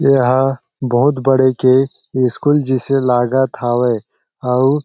एहा बहुत बड़े के स्कूल जैसे लागत हावे आउ --